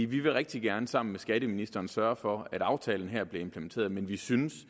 vi vil rigtig gerne sammen med skatteministeren sørge for at aftalen her bliver implementeret men vi synes